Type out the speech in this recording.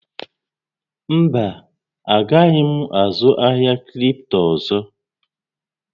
Mba, a gaghị m azụ ahịa kripto ọzọ